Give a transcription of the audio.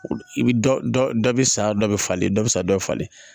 I bɛ dɔ dɔ dɔ bɛ sa dɔ bɛ falen dɔ bɛ sa dɔ falen